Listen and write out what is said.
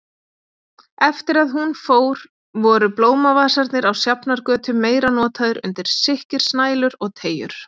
Eftir að hún fór voru blómavasarnir á Sjafnargötu meira notaðir undir sikkrisnælur og teygjur.